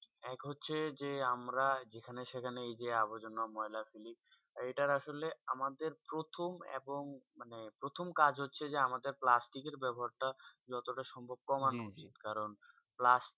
এক হচ্ছেই যে আমরা যেখানে সেখানে আবজা ময়লা ফেলি এটা আসলে আমাদের প্রথম এবং প্রথম কাজ হচ্ছেই যে প্লাস্টিকে বেবহার তা যত তা হয়ে কম করতে হবে কারণ প্লাস্টিক